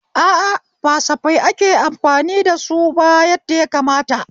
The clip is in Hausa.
A a, ba kasafai ake amfani da suba yadda yakamata